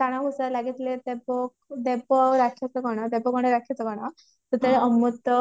ଟଣା ଘୋଷରା ଲାଗିଥିଲେ ଦେବ ଦେବ ଆଉ ରାକ୍ଷସ ଗଣ ଦେବ ଗଣ ରାକ୍ଷସ ଗଣ ସେତେବେଳେ ଅମୃତ